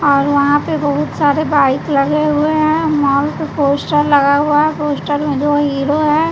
और वहां पे बहुत सारे बाइक लगे हुए हैं मॉल पे पोस्टर लगा हुआ पोस्टर में जो हीरो है।